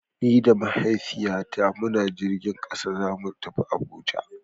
Ni da Mahaifiyata muna jirgin ƙasa zamu je Abu Dhabi.